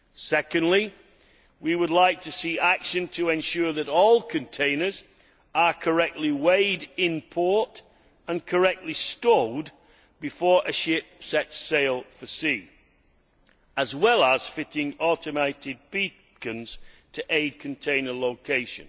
Secondly, we would like to see action to ensure that all containers are correctly weighed in port and correctly stowed before a ship sets sail for sea, as well as fitting automated beacons to aid container location.